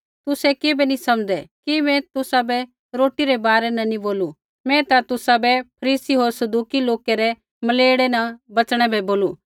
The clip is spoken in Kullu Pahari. तुसै किबै नी समझ़दै कि मैं तुसाबै रोटी रै बारै न नी बोलू मैं ता तुसाबै फरीसी होर सदूकी लोकै रै खमीरा न बच़णै बै बोलू